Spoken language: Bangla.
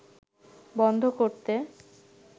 বন্ধ করতে